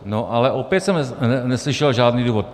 No ale opět jsem neslyšel žádný důvod.